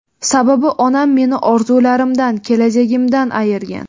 Sababi onam meni orzularimdan, kelajagimdan ayirgan.